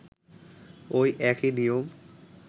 ঐ একই নিয়ম